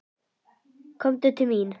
Komdu til mín.